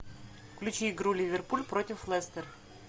включи игру ливерпуль против лестер